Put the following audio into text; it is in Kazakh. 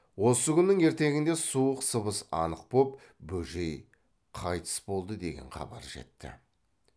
осы күннің ертеңінде суық сыбыс анық боп бөжей қайтыс болды деген хабар жетті